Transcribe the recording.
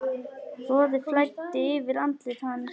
Roði flæddi yfir andlit hans.